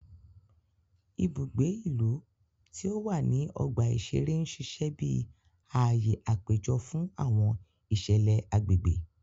Ibùgbé ìlú tí o wá ní ọgba iṣere n ṣiṣẹ bí ààyè apejọ fún awọn iṣẹlẹ agbègbè